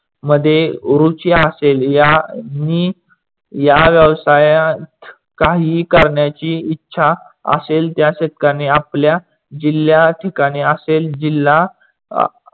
मध्ये रुचि असेल यांनी या व्यवसायात काहीही करण्याची इच्छा आसेल त्या शेतकऱ्यांनी आपल्या जिल्हया ठिकाणी आसेल जिल्हा